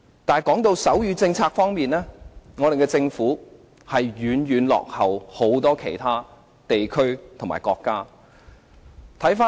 但是，在手語政策方面，政府遠遠落後於許多其他地區和國家。